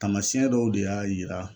Taamasiyɛn dɔw de y'a yira